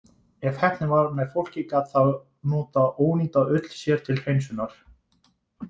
Ef heppnin var með fólki, gat það notað ónýta ull sér til hreinsunar.